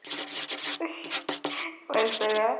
বেচেৰা।